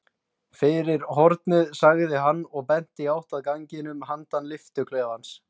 Fyrir hornið sagði hann og benti í átt að ganginum handan lyftuklefans.